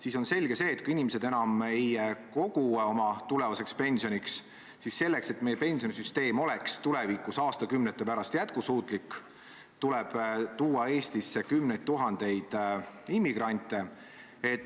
Selge on see, et kui inimesed enam ei kogu oma tulevaseks pensioniks, st selleks, et meie pensionisüsteem oleks tulevikus, aastakümnete pärast jätkusuutlik, siis tuleb tuua Eestisse kümneid tuhandeid immigrante.